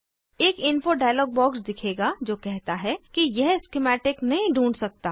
एक info dialog box दिखेगा जो कहता है कि यह स्किमैटिक नहीं ढूँढ सकता